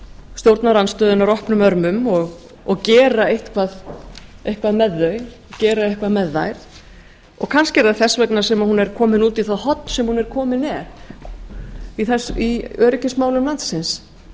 stjórnarandstöðunnar opnum örmum og gera eitthvað með þær kannski er það þess vegna sem hún er komin út í það horn sem hún er komin í í öryggismálum landsins